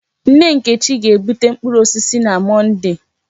Nne Nkechi ga-bute mkpụrụ osisi na Mọnde.